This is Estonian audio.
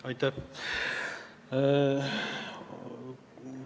Aitäh!